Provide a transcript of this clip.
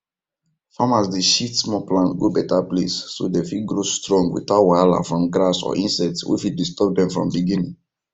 farmers dey shift small plant go better place so dem fit grow strong without wahala from grass or insects wey fit disturb dem from beginning